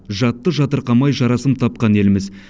жатты жатырқамай жарасым тапқан елміз